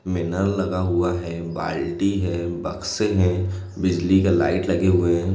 मेला लगा हुआ है बाल्टी है बक्से है बिजली का लाइट लगे हुए है।